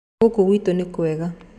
Ngũkũ gwitũ nĩ kwega.